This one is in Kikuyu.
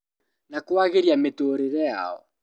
Na kwagĩria mĩtũũrĩre yao